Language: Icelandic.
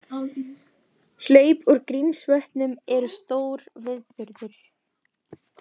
Hlaup úr Grímsvötnum eru stór viðburður